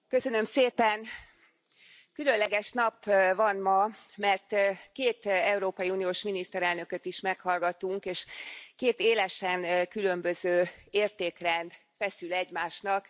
Tisztelt Elnök Úr, Köszönöm szépen! Különleges nap van ma, mert két európai uniós miniszterelnököt is meghallgattunk, és két élesen különböző értékrend feszül egymásnak.